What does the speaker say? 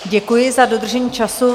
Děkuji za dodržení času.